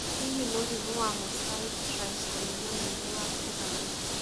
Hihi mũrimũ wa mosaic trisomy 9 nĩ wa kũgaĩrũo?